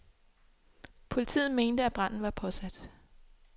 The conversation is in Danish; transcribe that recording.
Politiet mente, at branden var påsat.